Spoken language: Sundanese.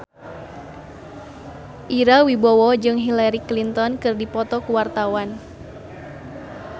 Ira Wibowo jeung Hillary Clinton keur dipoto ku wartawan